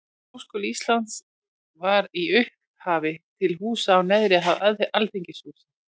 Háskóli Íslands var í upphafi til húsa á neðri hæð Alþingishússins.